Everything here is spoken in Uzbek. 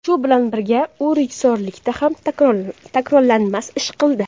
Shu bilan birga, u rejissyorlikda ham takrorlanmas ish qildi.